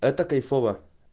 это кайфово